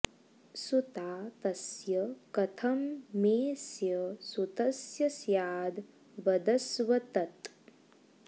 सुता तस्य कथं मेऽस्य सुतस्य स्याद् वदस्व तत्